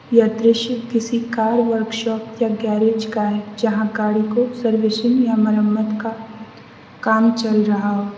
यह दृश्य किसी कार वर्कशॉप या गैरेज का है जहां गाड़ी को सर्विसिंग या मरम्मत का काम चल रहा हो।